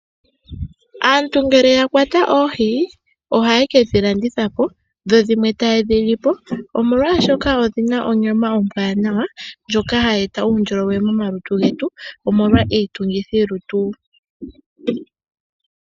Aantu ngele ya kwata oohi, ohaye kedhi landitha po dho dhimwe taye dhi li po omolwaashoka odhi na onyama ombwaanawa ndjoka hayi eta uundjolowele momalutu getu omolwa iitungithilutu.